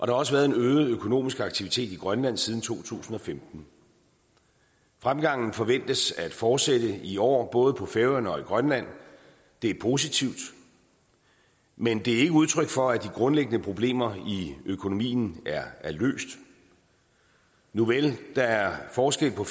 har også været en øget økonomisk aktivitet i grønland siden to tusind og femten fremgangen forventes at fortsætte i år både på færøerne og i grønland det er positivt men det er ikke udtryk for at de grundlæggende problemer i økonomien er løst nuvel der er forskel på